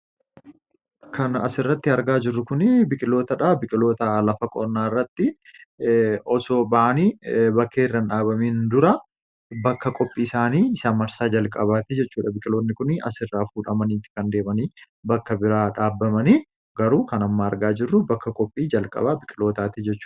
Kan as irratti argaa jirru Kun biqilootaa dha. Biqiloota osoo baafamanii bakka biroo hin dhabaminii dha. Kunis biqiloota bakka jalqaba facaafaman yookiin maxxanfamanii dha.